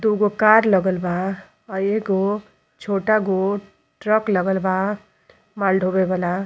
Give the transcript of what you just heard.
दुगो कार लगल बा। अ एगो छोटा गो ट्रक लगल बा माल ढ़ोवे वाला।